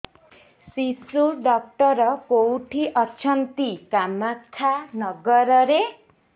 ଶିଶୁ ଡକ୍ଟର କୋଉଠି ଅଛନ୍ତି କାମାକ୍ଷାନଗରରେ